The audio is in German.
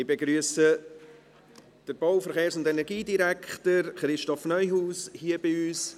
Ich begrüsse den Bau-, Verkehrs- und Energiedirektor Christoph Neuhaus hier bei uns.